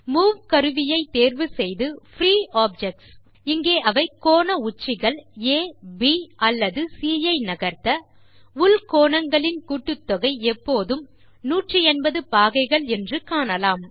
move கருவியைதேர்வு செய்து free objects இங்கே அவை கோண உச்சிகள் ஆ ப் அல்லது சி ஐ நகர்த்த உள் கோணங்களின் கூட்டுத்தொகை எப்போதுமே 180 பாகைகள் என்று காணலாம்